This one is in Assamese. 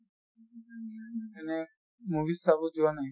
movies চাব যোৱা নাই?